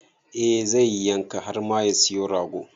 Eh zai yi yanka har ma ya siyo rago.